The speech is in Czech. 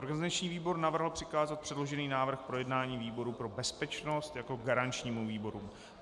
Organizační výbor navrhl přikázat předložený návrh k projednání výboru pro bezpečnost jako garančnímu výboru.